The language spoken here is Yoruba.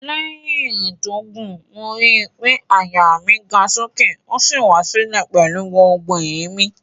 Lẹ́yìn ìrìn tó gùn, mo ri pé àyà mi ga sókè ó sì wá sílẹ̀ pẹ̀lú gbogbo èémí